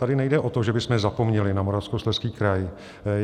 Tady nejde o to, že bychom zapomněli na Moravskoslezský kraj.